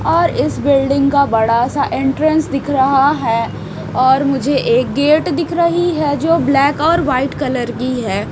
और इस बिल्डिंग का बड़ा सा एंट्रेंस दिख रहा है और मुझे एक गेट दिख रही है जो ब्लैक और वाइट कलर की है।